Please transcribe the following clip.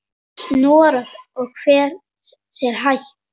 Snorra og fer sér hægt.